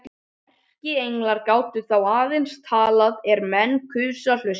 Erkienglar gátu þá aðeins talað er menn kusu að hlusta.